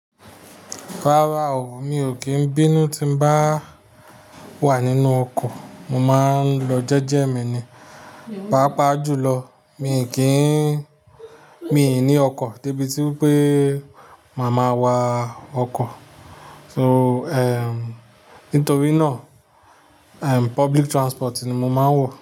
Rárá o, mi ò kí ń bínú tí n bá wà nínú ọkọ̀, mo máa ń lọ jẹ́jẹ́ mi ni. Páapáà jùlọ, mi ò ní ọkọ̀ dé ibi wipé màá máa wa ọkọ̀. Nitorí náà, public transport ni mo máa ń wọ.